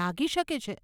લાગી શકે છે.